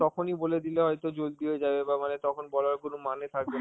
তখনই বলে দিলে হয়তো জলদি হয়ে যাবে বা মানে তখন বলার কোন মানে থাকবে